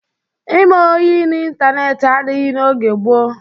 Ime ọyị ịntaneetị adịghị n'oge gboo.